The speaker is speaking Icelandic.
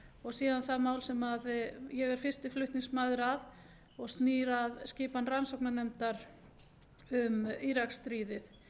og síðan það mál sem ég er fyrsti flutningsmaður að og snýr að skipan rannsóknarnefndar um íraksstríðið